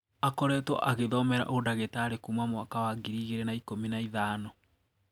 Akoretwo agithomera ũdagitarĩ kuuma mwaka wa ngiri igĩrĩ na ikũmi na ithano.